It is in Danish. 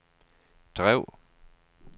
drev